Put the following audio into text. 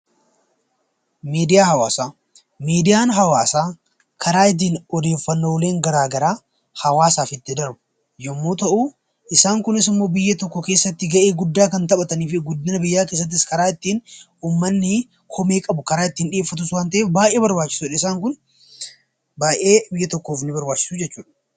Miidiyaa Hawaasaa Miidiyaan hawaasaa karaa ittiin odeeffanooleen gara garaa hawaasaaf itti darbu yommuu ta'u; isaan kunis immoo biyya tokko keessati gahee guddaa kan taphatanii fi guddina biyyaa keeessattis karaa ittiin uummanni komee qabu karaa ittiin dhiyeeffatus waan ta'eef baay'ee barbaachisoo dha. Isaan kun baay'ee biyya tokkoof nii barbaachisu jechuu dha.